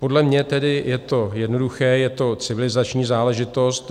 Podle mě tedy je to jednoduché, je to civilizační záležitost.